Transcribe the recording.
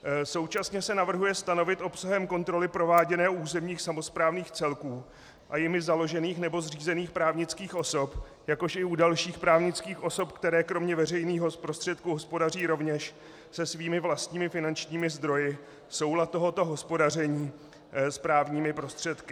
Současně se navrhuje stanovit obsahem kontroly prováděné u územních samosprávných celků a jimi založených nebo zřízených právnických osob, jakož i u dalších právnických osob, které kromě veřejných prostředků hospodaří rovněž se svými vlastními finančními zdroji, soulad tohoto hospodaření s právními prostředky.